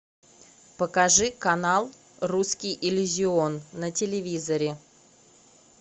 покажи канал русский иллюзион на телевизоре